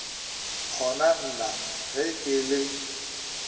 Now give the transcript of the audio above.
kgona na ge ke le